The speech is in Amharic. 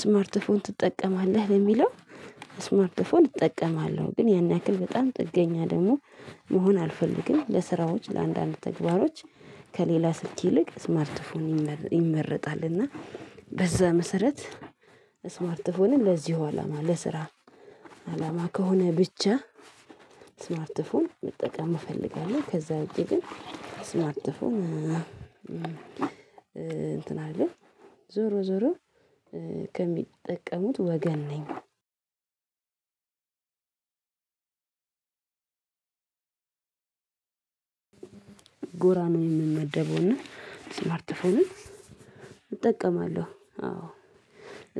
ስማርት ፎን ትጠቀማለህ? ለሚለው ስማርትፎን እጠቀማለሁ ግን ያን ያክል በጣም ጥገኛ ደግሞ መሆን አልፈልግም ለስራዎች ለአንዳንድ ተግባሮች ከሌላ ስልክ ይልቅ ስማርትፎን ይመረጣል እና በዛ መሰረት ስማርት ፎንን ለዚሁ አላማ ለስራ አላማ ከሆነ ብቻ ስማርት ፎን መጠቀም እፈልጋለሁ ከዛ ውጭ ግን ስማርት ፎን እንትን አይደለም ዞሮ ዞሮ ከሚጠቀሙት ወገን ነኝ ጎራ ነው የምንመደበው ስማርት ፎንን እጠቀማለሁ አዎ